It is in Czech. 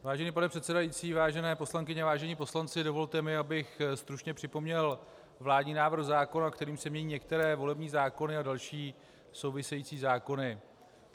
Vážený pane předsedající, vážené poslankyně, vážení poslanci, dovolte mi, abych stručně připomněl vládní návrh zákona, kterým se mění některé volební zákony a další související zákony.